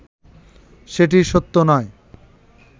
সেটি সত্য নয়